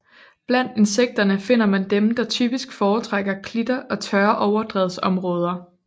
Blandt insekterne finder man dem der typisk foretrækker klitter og tørre overdrevsområder